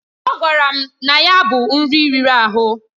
Ọ gwara m na ya bụ nri riri ahụ.